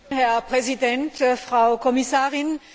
Herr Präsident, Frau Kommissarin!